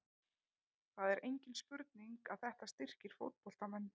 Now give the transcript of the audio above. Það er engin spurning að þetta styrkir fótboltamenn.